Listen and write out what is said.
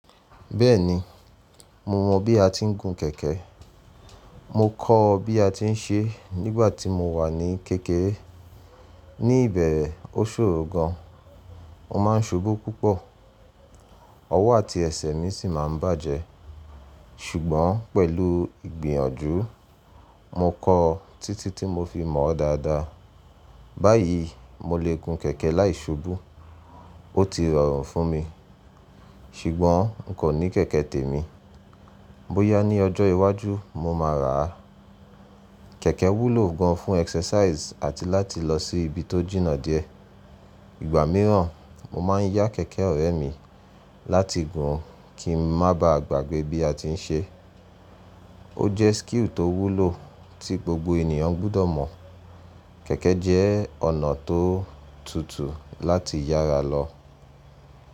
Bẹ́ẹ̀ni, mo mọ̀ bí a ti ń gun kẹ̀kẹ́. Mo kọ́ ọ bí a ti ń ṣe nígbà tí mo wà ní kékeré. Ní bẹ̀rẹ̀ ó ṣòro gan, mo máa ń ṣubú púpọ̀, ọwọ́ àti ẹsẹ̀ mi sì máa ń bàjẹ́. Ṣùgbọ́n pẹ̀lú ìgbìyànjú mo kọ ọ títí tí mo fi mọ̀ ọ́ dáadáa. Báyìí, mo lè gun kẹ̀kẹ́ láìṣubú. Ó ti rọrùn fún mi, ṣùgbọ́n n kò ni kẹ̀kẹ́ tèmi. Bóyá ní ọjọ́ iwájú mo máa rà á. Kẹ̀kẹ́ wúlò gan fún exercise àti láti lọ sí ibi tó jìnnà díẹ̀. Ìgbà mìíràn, mo máa ń yá kẹ̀kẹ́ ọ̀rẹ́ mi láti gùn kí n má bá a gbàgbé bí a ti ń ṣe. Ó jẹ́ skill tó wúlò tí gbogbo ènìyàn gbudọ̀ mọ̀. Kẹ̀kẹ́ jẹ́ ọ̀nà tó tutù láti yára lọ.